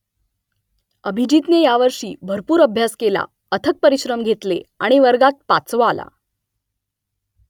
अभिजीतने यावर्षी भरपूर अभ्यास केला अथक परिश्रम घेतले आणि वर्गात पाचवा आला